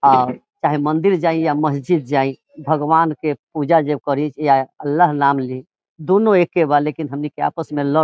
आ चाहे मंदिर जाय या मस्जिद जाय भगवान के पूजा जब करी या अल्लाह नाम ली दुनु एके बा हमनी के आपस मे लड़ --